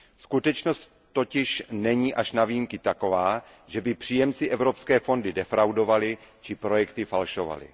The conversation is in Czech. Skutečnost totiž není až na výjimky taková, že by příjemci evropské fondy defraudovali či projekty falšovali.